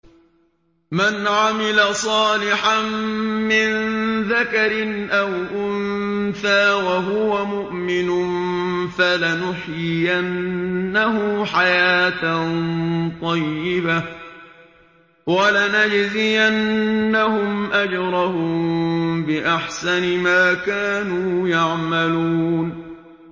مَنْ عَمِلَ صَالِحًا مِّن ذَكَرٍ أَوْ أُنثَىٰ وَهُوَ مُؤْمِنٌ فَلَنُحْيِيَنَّهُ حَيَاةً طَيِّبَةً ۖ وَلَنَجْزِيَنَّهُمْ أَجْرَهُم بِأَحْسَنِ مَا كَانُوا يَعْمَلُونَ